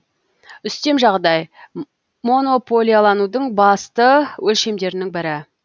үстем жағдай монополияланудың басты өлшемдерінің бірі